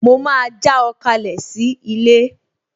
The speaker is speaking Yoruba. Mo máa já ọ kalẹ̀ sí ilé